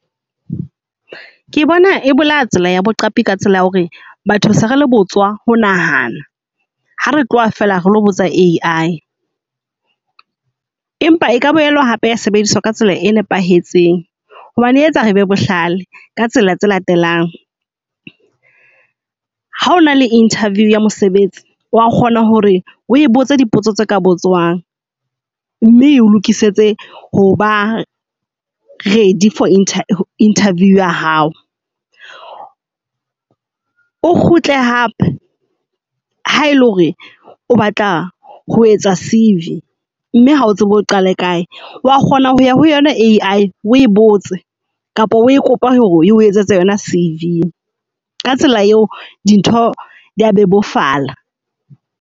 Ke bona e bolaya tsela ya boqapi ka tsela ya hore batho se re le botswa ho nahana ha re tloha feela re lo botsa A_I. Empa e ka boela hape ya sebediswa ka tsela e nepahetseng hobane etsa re be bohlale ka tsela tse latelang. Ha o na le interview ya mosebetsi wa kgona hore o botse dipotso tse ka bo tswang. Mme eo lokisetse hoba ready for interview ya hao. O kgutle hape ha ele hore o batla ho etsa C_V mme ha o tsebe o qale kae. Wa kgona ho ya ho yona A_I o e botse kapa o kopa hore eo etsetse yona C_V. Ka tsela eo di ntho dia bebofala.